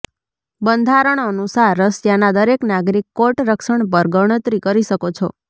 બંધારણ અનુસાર રશિયાના દરેક નાગરિક કોર્ટ રક્ષણ પર ગણતરી કરી શકો છો